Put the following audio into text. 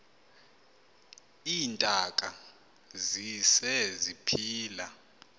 iintaka zise ziphila